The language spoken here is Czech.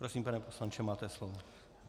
Prosím, pane poslanče, máte slovo.